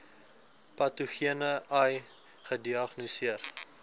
patogene ai gediagnoseer